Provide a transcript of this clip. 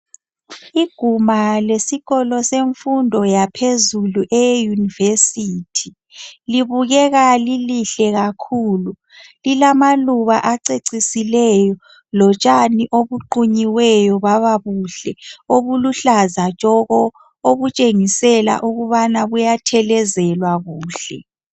Iguma lesikolo semfundo yaphezulu eye University libukeka lilihle kakhulu lilamaluba acecisileyo lotshani obuqunyiweyo baba buhle obuluhlaza tshoko obutshengisela ukubana buyathelezelwa kuhle.